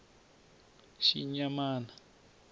xinyamana